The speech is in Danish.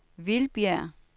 Vildbjerg